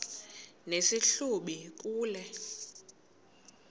nesi hlubi kule